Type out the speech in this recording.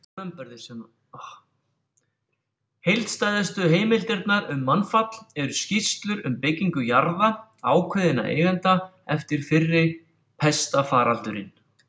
Heildstæðustu heimildirnar um mannfall eru skýrslur um byggingu jarða ákveðinna eigenda eftir fyrri pestarfaraldurinn.